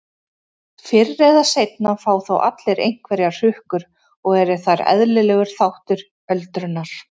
Fyrr eða seinna fá þó allir einhverjar hrukkur og eru þær eðlilegur þáttur öldrunar.